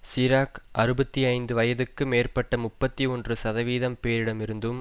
சிராக் அறுபத்தி ஐந்து வயதுக்கு மேற்பட்ட முப்பத்தி ஒன்று சதவீதம் பேரிடமிருந்தும்